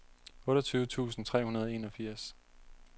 otteogtyve tusind tre hundrede og enogfirs